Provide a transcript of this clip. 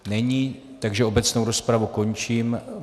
Není, takže obecnou rozpravu končím.